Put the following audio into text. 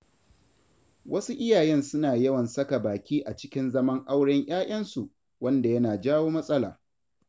Wasu iyayen suna yawan saka baki a cikin zaman auren 'ya'yansu, wanda yana jawo matsala.